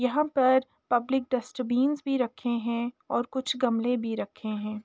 यहाँ पर public dustbins भी रखे हैं और कुछ गमले भी रखे हैं।